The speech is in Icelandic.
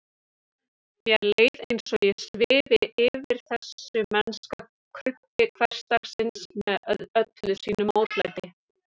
Mér leið eins og ég svifi yfir þessu mennska krumpi hversdagsins með öllu sínu mótlæti.